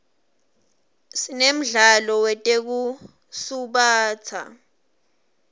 sinemdlalo wetekusubatsa